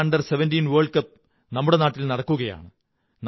FIFA under 17 world cup നമ്മുടെ നാട്ടിൽ നടക്കുകയാണ്